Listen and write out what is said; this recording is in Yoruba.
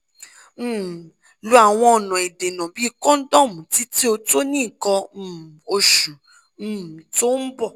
um lo awon ona idena bi condomu titi o to ni ikan um osu um to n bo